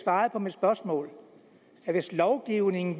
svaret på mit spørgsmål hvis lovgivningen